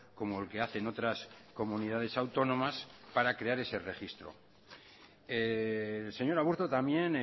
como el que hacen otras comunidades autónomas para crear ese registro el señor aburto también